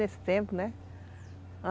Nesse tempo, né?